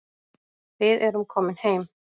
Við erum komin heim